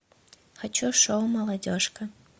хочу шоу молодежка